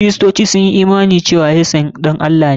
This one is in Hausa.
Kiristoci sun yi imani cewa Yesu ɗan Allah ne.